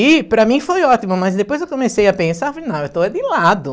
E para mim foi ótimo, mas depois eu comecei a pensar, falei não, eu estou é de lado.